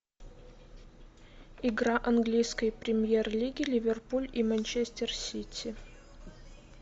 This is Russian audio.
игра английской премьер лиги ливерпуль и манчестер сити